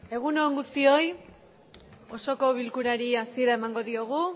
egun on guztioi osoko bilkurari hasiera emango diogu